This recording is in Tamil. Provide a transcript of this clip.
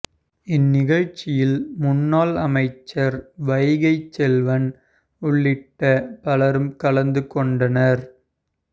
இந்நிகழ்ச்சியில் முன்னாள் அமைச்சர் வைகை செல்வன் உள்ளிட்ட பலரும் கலந்து கொண்டனர்